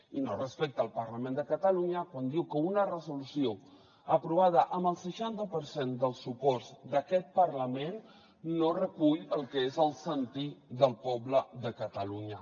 i no respecta el parlament de catalunya quan diu que una resolució aprovada amb el seixanta per cent del suport d’aquest parlament no recull el que és el sentir del poble de catalunya